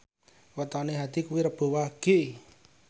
wetone Hadi kuwi Rebo Wage